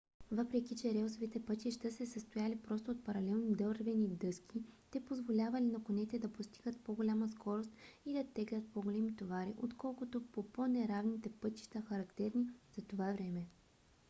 въпреки че релсовите пътища се състояли просто от паралелни дървени дъски те позволявали на конете да постигат по-голяма скорост и да теглят по-големи товари отколкото по по-неравните пътища характерни за това време